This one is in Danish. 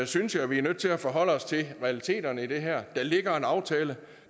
synes jeg vi er nødt til at forholde os til realiteterne i det her der ligger en aftale